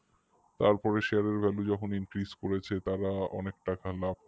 তারপরে share এর value যখন increase করেছে তারা তখন অনেক টাকা লাভ